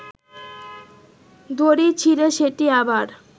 দড়ি ছিড়ে সেটি আবার